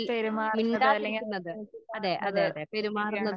പെരുമാറുന്നത് അല്ലെങ്കിൽ